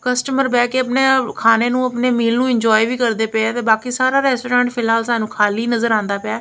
Customer ਬਹਿ ਕੇ ਆਪਣੇ ਖਾਣੇ ਨੂੰ ਆਪਣੇ ਮੀਲ ਨੂੰ ਇੰਜੋਏ ਵੀ ਕਰਦੇ ਪਏ ਆ ਤੇ ਬਾਕੀ ਸਾਰਾ ਰੈਸਟੋਰੈਂਟ ਫਿਲਹਾਲ ਸਾਨੂੰ ਖਾਲੀ ਨਜ਼ਰ ਆਉਂਦਾ ਪਿਆ।